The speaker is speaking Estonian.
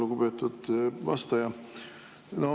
Lugupeetud vastaja!